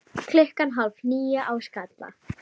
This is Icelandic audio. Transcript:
Klukkan hálf níu á Skalla!